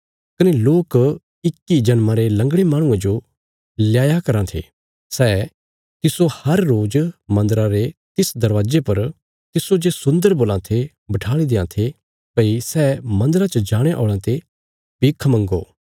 कने लोक इक्की जन्मा रे लंगड़े माहणुये जो लयाया राँ थे सै तिस्सो हर रोज़ मन्दरा रे तिस दरवाजे पर तिस्सो जे सुन्दर बोलां ये बठाल़ी देयां थे भई सै मन्दरा च जाणे औल़यां ते भिख मंग्गो